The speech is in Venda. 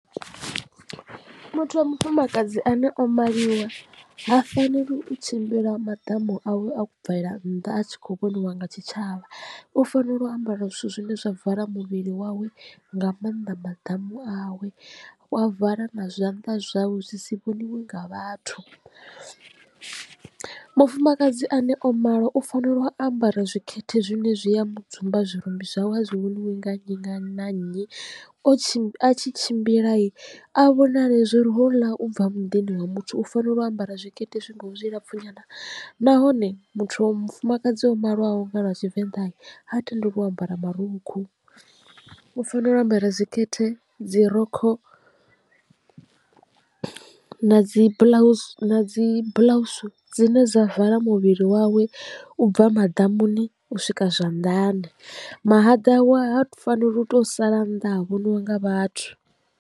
Muthu wa mufumakadzi ane o maliwa ha faneli u tshimbila maḓamu awe a bvela nnḓa a tshi khou vhoniwa nga tshitshavha u fanela u ambara zwithu zwine zwa vala muvhili wawe nga mannḓa maḓamu awe wa vala na zwanḓa zwawe zwi si vhoniwa nga vhathu. Mufumakadzi ane o malwa u fanela u ambara zwikete zwine zwi a mu dzumba zwirumbi zwawe a zwi vhoniwi nga nnyi na nnyi o tshi tshimbila a vhonale zwo ri houḽa u bva muḓini wa muthu u fanela u ambara zwikete zwi ngaho zwilapfhu nyana nahone muthu wa mufumakadzi o maliwaho nga lwa tshivenḓa ha tendeliwi u ambara marukhu, u fanela u ambara zwi khethe dzi rokho na dzi buḽausi na dzi buḽausu dzine dza vala muvhili wawe u bva maḓamuni u swika zwanḓani mahaḓa awe ha faneli u to sala nnḓa ha vhoniwa nga vhathu.